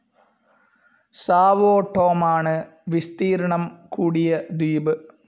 Sao ടോമാണ് വിസ്തീർണ്ണം കൂടിയ ദ്വീപ്.